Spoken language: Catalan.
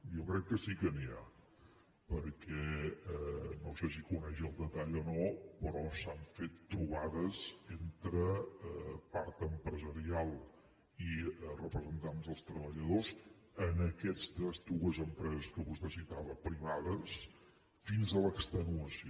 jo crec que sí que n’hi ha perquè no sé si coneix el detall o no però s’han fet trobades entre part empresarial i representants dels treballadors en aquestes dues empreses que vostè citava privades fins a l’extenuació